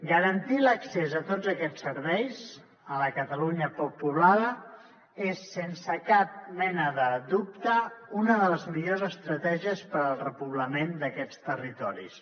garantir l’accés a tots aquests serveis a la catalunya poc poblada és sense cap mena de dubte una de les millors estratègies per al repoblament d’aquests territoris